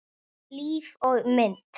Líf og mynd